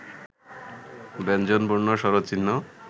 ব্যঞ্জনবর্ণ, স্বরচি‎হ্ন